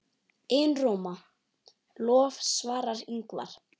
Einróma lof svarar Ingvar.